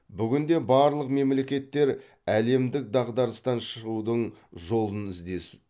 бүгінде барлық мемлекеттер әлемдік дағдарыстан шығудың жолын іздесу